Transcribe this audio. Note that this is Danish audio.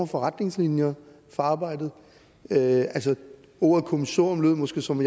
for retningslinjer for arbejdet ordet kommissorium lød måske som